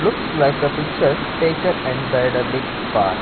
looks like a picture taken inside a big park.